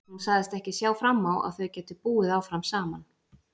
Hún sagðist ekki sjá fram á að þau gætu búið áfram saman.